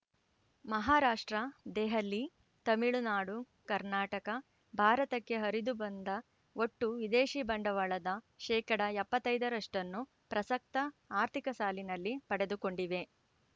ಮಹಾರಾಷ್ಟ್ರದೆಹಲಿ ತಮಿಳುನಾಡುಕರ್ನಾಟಕ ಭಾರತಕ್ಕೆ ಹರಿದು ಬಂದ ಒಟ್ಟು ವಿದೇಶಿ ಬಂಡವಾಳದ ಶೇಕಡಾ ಎಪ್ಪತ್ತೈದರಷ್ಟನ್ನು ಪ್ರಸಕ್ತ ಆರ್ಥಿಕ ಸಾಲಿನಲ್ಲಿ ಪಡೆದುಕೊಂಡಿವೆ